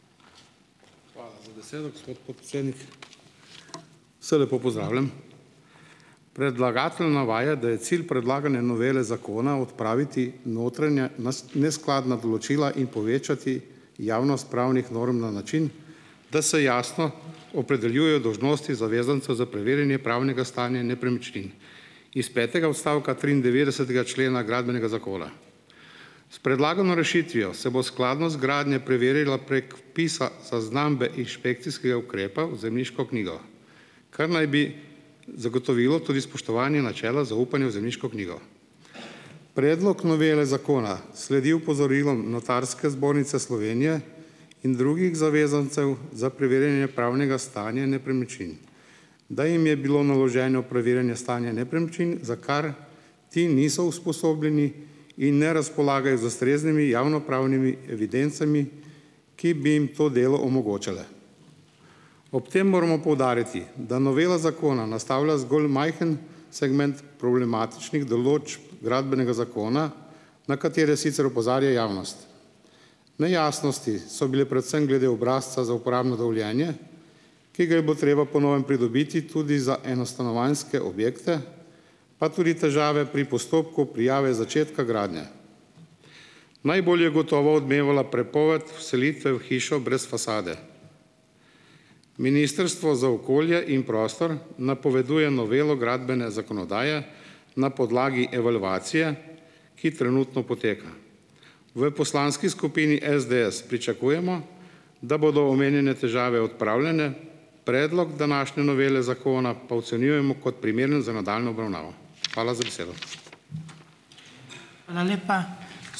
Hvala za besedo, gospod podpredsednik. Vse lepo pozdravljam. Predlagatelj navaja, da je cilj predlagane novele zakona odpraviti notranja neskladna določila in povečati javnost pravnih norm na način, da se jasno opredeljujejo dolžnosti zavezanca za preverjanje pravnega stanja nepremičnin in s petega odstavka triindevetdesetega člena Gradbenega zakona. S predlagano rešitvijo se bo skladnost gradnje preverilo prek vpisa zaznambe inšpekcijskega ukrepa v zemljiško knjigo, kar naj bi zagotovilo tudi spoštovanje načela zaupanja v zemljiško knjigo. Predlog novele zakona sledi opozorilom Notarske zbornice Slovenije in drugih zavezancev za preverjanje pravnega stanja nepremičnin. Da jim je bilo naloženo preverjanje stanja nepremičnin, za kar ti niso usposobljeni, in ne razpolagajo z ustreznimi javnopravnimi evidencami, ki bi jim to delo omogočale. Ob tem moramo poudariti, da novela zakona nastavlja zgolj majhen segment problematičnih določb Gradbenega zakona, na katere sicer opozarja javnost. Nejasnosti so bile predvsem glede obrazca za uporabno dovoljenje, ki ga je bilo treba po novem pridobiti tudi za enostanovanjske objekte, pa tudi težave pri postopku prijave začetka gradnje. Najbolj je gotovo odmevala prepoved vselitve v hišo brez fasade. Ministrstvo za okolje in prostor napoveduje novelo gradbene zakonodaje na podlagi evalvacije, ki trenutno poteka. V poslanski skupini SDS pričakujemo, da bodo omenjene težave odpravljene, predlog današnje novele zakona pa ocenjujemo kot primeren za nadaljnjo obravnavo. Hvala za besedo.